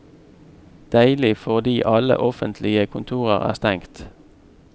Deilig fordi alle offentlige kontorer er stengt.